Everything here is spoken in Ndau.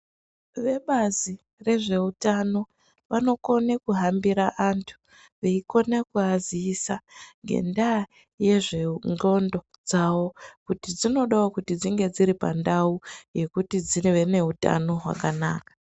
Vebazi rezveutano vanokone kuhambira vantu veikone kuaziisa ngendaa yezvendxondo dzawo kuti dzinodawo kuti dzinge dziripandau yekuti dzive neutano hwakanaka.